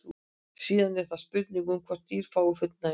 síðan er það spurningin um hvort dýr fái fullnægingu